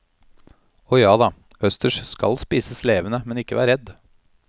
Og jada, østers skal spises levende, men ikke vær redd.